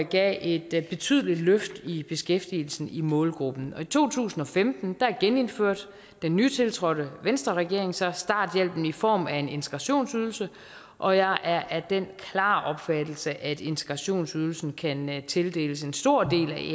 gav et betydeligt løft i beskæftigelsen i målgruppen i to tusind og femten genindførte den nytiltrådte venstreregering så starthjælpen i form af en integrationsydelse og jeg er af den klare opfattelse at integrationsydelsen kan tildeles en stor del